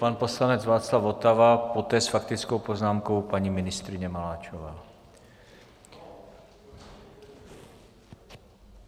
Pan poslanec Václav Votava, poté s faktickou poznámkou paní ministryně Maláčová.